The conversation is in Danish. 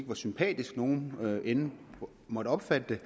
hvor sympatisk nogen end måtte opfatte